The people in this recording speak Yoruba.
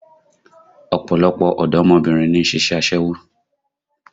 Ọ̀pọ̀lọpọ̀ ọ̀dọ́mọbìnrin ni ń ṣiṣẹ́ aṣẹ́wó